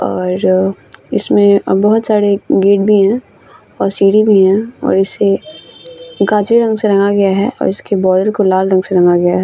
और इसमें बहुत सारे गेट भी है और सीढ़ी भी है और इसे गाजर रंग से रंगा गया है और इसके बॉडर को लाल रंग से रंगा गया है।